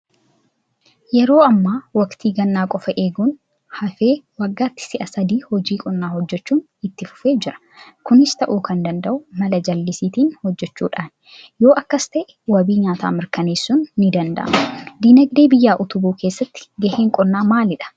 Yeroo ammaa waktii gannaa qofa eeguun hafee waggaatti si'a sadi hojii qonnaa hojjechuun itti fufee jira. Kunis ta'uu kan danda'u mala jallisiitiin hojjechuudhaani. Yoo akkas ta'e wabii nyaataa mirkaneessuun nidanda'ama. Diinagdee biyyaa utubuu keessatti gaheen qonnaa maalidha?